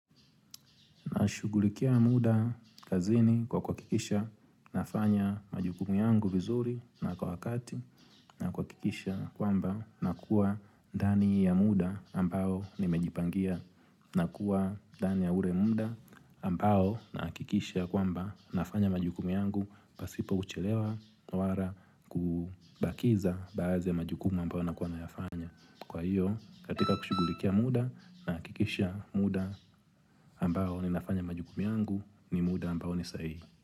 Nashughulikia muda kazini kwa kuhakikisha nafanya majukumu yangu vizuri na kwa wakati na kuhakikisha kwamba na kuwa ndani ya muda ambao nimejipangia na kuwa ndani ya ule muda ambao nahakikisha kwamba nafanya majukumu yangu pasipo kuchelewa na wala kubakiza baadhi ya majukumu ambao nakuwa nayafanya. Kwa hiyo katika kushughulikia muda nahakikisha muda ambao ninafanya majukumu yangu ni muda ambao ni sahii.